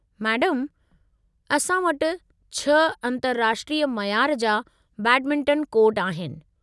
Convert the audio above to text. मैडमु, असां वटि 6 अंतर्राष्ट्रीय मयार जा बैडमिंटन कोर्ट आहिनि।